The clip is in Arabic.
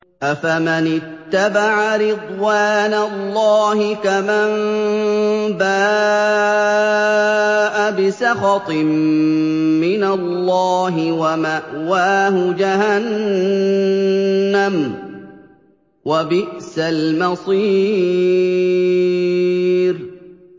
أَفَمَنِ اتَّبَعَ رِضْوَانَ اللَّهِ كَمَن بَاءَ بِسَخَطٍ مِّنَ اللَّهِ وَمَأْوَاهُ جَهَنَّمُ ۚ وَبِئْسَ الْمَصِيرُ